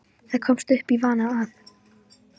Það komst upp í vana að